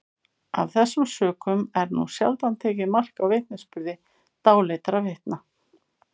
af þessum sökum er nú sjaldan tekið mark á vitnisburði dáleiddra vitna